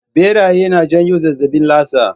Ɓeraye na janyo zazzaɓin lasa